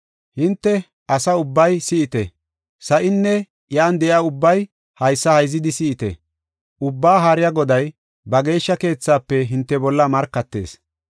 Hinte, asa ubbay si7ite; sa7inne iya de7iya ubbay haysa hayzidi si7ite. Ubbaa Haariya Goday, ba geeshsha keethaafe hinte bolla markatees.